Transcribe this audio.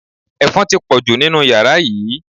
Ẹ̀fọn ti pọ̀jù nínú yàrá yìí